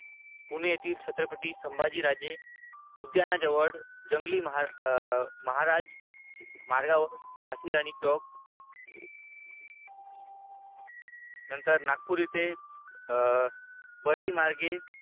पुणे येथील छत्रपती संभाजी राजे उद्यानाजवळ जंगली महाराज मार्गावर झाशी राणी चौक नंतर नागपूर येथे बडी मार्गे